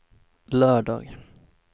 lördag